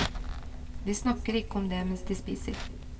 De snakker ikke om det mens de spiser.